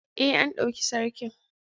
Ee, an ɗauki Sarkin.